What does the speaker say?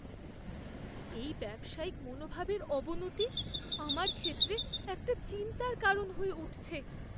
এই ব্যবসায়িক মনোভাবের অবনতি আমার ক্ষেত্রে একটা চিন্তার কারণ হয়ে উঠছে।